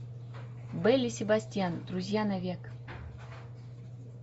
белль и себастьян друзья навек